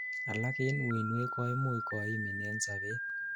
alak en uinwek koimuch koimin en sobet